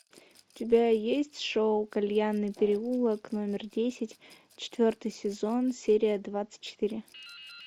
у тебя есть шоу кальянный переулок номер десять четвертый сезон серия двадцать четыре